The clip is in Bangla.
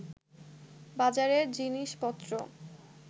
বাজারের জিনিসপত্র